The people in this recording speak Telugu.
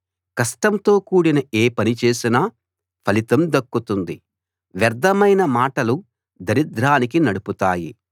కష్టంతో కూడిన ఏ పని చేసినా ఫలితం దక్కుతుంది వ్యర్ధమైన మాటలు దరిద్రానికి నడుపుతాయి